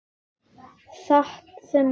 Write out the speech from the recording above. Satt sem Arnar sagði.